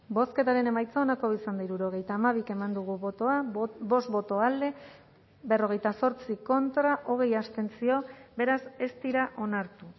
bozketaren emaitza onako izan da hirurogeita hamabi eman dugu bozka bost boto alde berrogeita zortzi contra hogei abstentzio beraz ez dira onartu